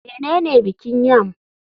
Menene bikin yam?